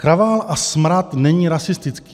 Kravál a smrad není rasistický.